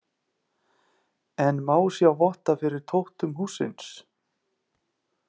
En má sjá votta fyrir tóttum hússins.